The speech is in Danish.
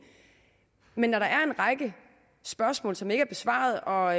men når der er en række spørgsmål som ikke er besvaret og